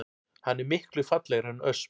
Hann er miklu fallegri en ösp